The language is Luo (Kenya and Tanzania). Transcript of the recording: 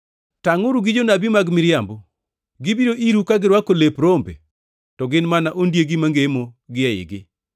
“Tangʼuru gi jonabi mag miriambo. Gibiro iru ka girwako lep rombe, to gin mana ondiegi mangemo gi eigi.